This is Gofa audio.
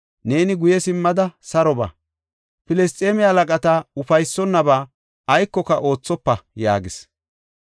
Neeni guye simmada saro ba; Filisxeeme halaqata ufaysonnaba aykoka oothofa” yaagis.